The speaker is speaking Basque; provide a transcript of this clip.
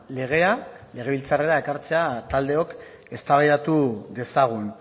legea legebiltzarrera ekartzea taldeok eztabaidatu dezagun